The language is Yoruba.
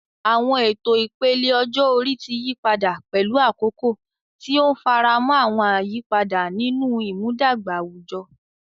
Àwọn ètò ìpele ọjọ́ orí ti yí padà pẹ̀lú àkókò, tí ó ń faramọ́ àwọn àyípadà nínú ìmúdàgba àwùjọ.